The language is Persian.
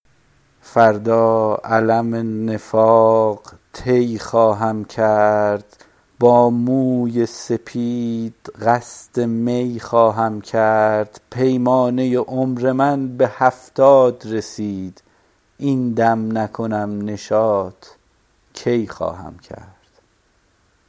فردا علم نفاق طی خواهم کرد با موی سپید قصد می خواهم کرد پیمانه عمر من به هفتاد رسید این دم نکنم نشاط کی خواهم کرد